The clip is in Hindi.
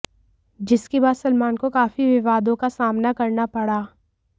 जिसके बाद सलमान को काफी विवादों का सामना करना पड़ा